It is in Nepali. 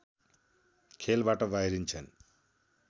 खेलबाट बाहिरिन्छन्